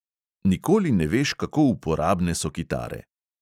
Nikoli ne veš, kako uporabne so kitare.